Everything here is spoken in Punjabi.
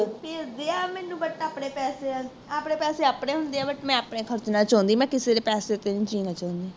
ਭੇਜਦੇ ਆ ਮੈਨੂੰ but ਆਪਣੇ ਪੈਸਿਆਂ, ਆਪਣੇ ਪੈਸੇ ਆਪਣੇ ਹੁੰਦੇ ਆ, but ਮੈ ਆਪਣੇ ਖਰਚਣਾ ਚਾਹੁੰਦੀ, ਮੈਂ ਕਿਸੇ ਦੇ ਪੈਸੇ ਤੇ ਨਹੀਂ ਜੀਣਾ ਚਾਹੁੰਦੀ।